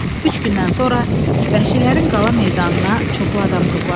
Üç gündən sonra vəhşilərin qala meydanına çoxlu adam toplaşdı.